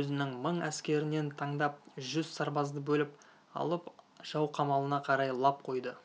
өзінің мың әскерінен таңдап жүз сарбазды бөліп алып жау қамалына қарай лап қойды